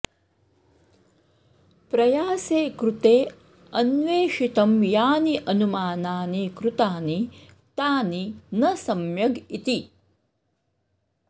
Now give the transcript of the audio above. प्रयासे कृते अन्वेषितं यानि अनुमानानि कृतानि तानि न सम्यग् इति